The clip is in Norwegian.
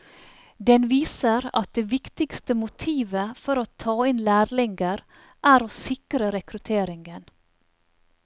Den viser at det viktigste motivet for å ta inn lærlinger er å sikre rekrutteringen.